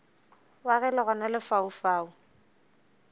wa ge le gona lefaufau